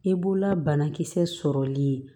I b'ola banakisɛ sɔrɔli